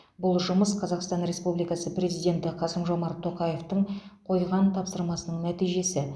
бұл жұмыс қазақстан республикасы президенті қасым жомарт тоқаевтың қойған тапсырмасының нәтижесі